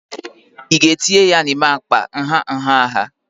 ị ga-etinye ya n'ime akpa nha nha nha